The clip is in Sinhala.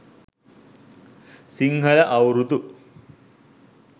sinhala aurudu